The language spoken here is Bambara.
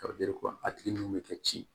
a tigi ninnu bɛ kɛ ci